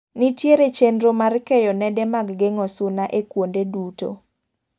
Nitiere chenro mar keyo nede mag geng'o suna e kuonde duto.